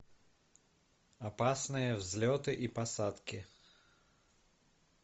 опасные взлеты и посадки